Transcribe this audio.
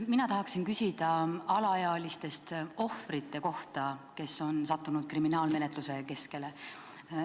Mina tahaksin küsida alaealistest ohvrite kohta, kes on sattunud kriminaalmenetluse keskele.